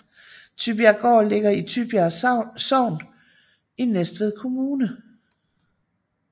Tybjerggaard ligger i Tybjerg Sogn i Næstved Kommune